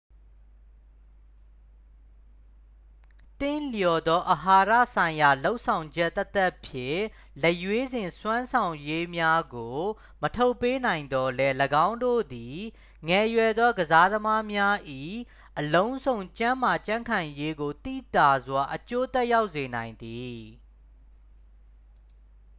သင့်လျော်သော အာဟာရဆိုင်ရာလုပ်ဆောင်ချက်သက်သက်ဖြင့် လက်ရွေးစင်စွမ်းဆောင်ရည်များကို မထုတ်ပေးနိုင်သော်လည်း ၎င်းတို့သည် ငယ်ရွယ်သောကစားသမားများ၏ အလုံးစုံကျန်းမာကြံ့ခိုင်ရေးကို သိသာစွာ အကျိုးသက်ရောက်စေနိုင်သည်